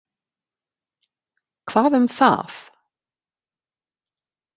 Hvað um það?